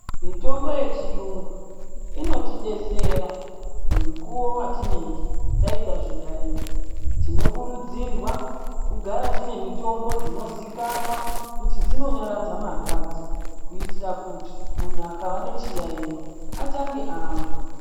Mitombo yechiyungu inotidetsera mukuwo watinenge taita zviyayiyo tinokurudzira kugara tine mitombo dzinozikanwa kuti dzinonyaradza marwadzo kuitira kuti muntu akava nechiyayiwo atange amwa.